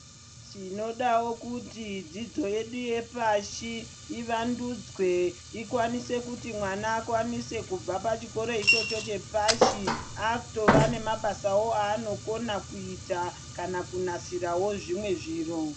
Tinodawo kuti dzidzo yedu yepashi iwandudzwe ikwanise kuti mwana akwanise kubva pachikoro ichocho chepashi akutova nemabasawo aanokwanisa kuita kana kunasira wo zvimwe zviro.